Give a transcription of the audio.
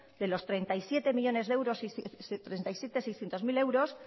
de los treinta y siete millónes seiscientos mil euros